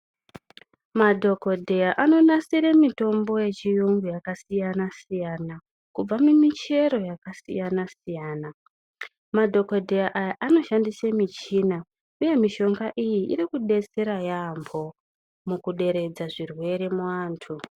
Madhokodheya anonasire mitombo yechiyungu yakasiyana siyana kubva mumichero yakasiyana siyana, madhokodheya aya anoshandise michina uye mishonga iyi iri kudetsera yaambho mukuderedza zvirwere muanthu.